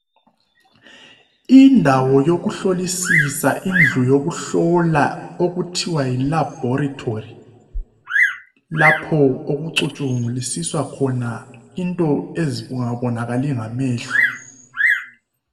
Indawo yokuhlolisisa indlu yokuhlola okuthiwa yi laboratory lapho okucutshungulisiswa khona into ezingabonakali ngamehlo.